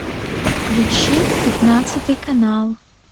включи пятнадцатый канал